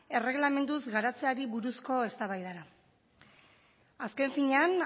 erregelamenduz garatzeari buruzko eztabaidara azken finean